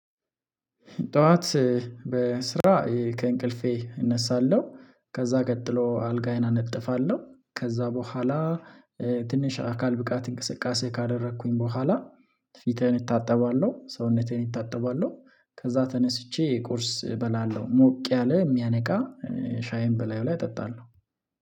ጠዋት በስራ ከእንቅልፌ እነሳለሁ። ከዛ ቀጥሎ አልጋዬን አነጥፋለሁ ከዛ በኋላ። ትንሽ አካል ብቃት እንቅስቃሴ ካደረኩኝ በኋላ። ፊቴን እታጠባለው ሰውነተን እታጠባለው። ከዛ ተነስቼ ቁርስ እበላለሁ ሞቅ ያለ የሚያነቃ። ሻይን በላዩ ላይ እጠጣለሁ